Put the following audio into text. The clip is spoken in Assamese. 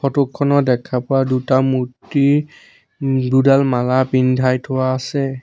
ফটো খনত দেখা পোৱা দুটা মূৰ্তি উম দুডাল মালা পিন্ধাই থোৱা আছে।